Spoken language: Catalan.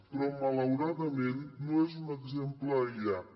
però malauradament no és un exemple aïllat